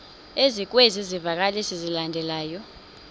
ezikwezi zivakalisi zilandelayo